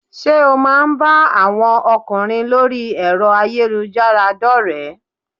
Sé o má a ń bá àwọn ọkùnrin lórí ẹ̀rọ ayélujára dórèé?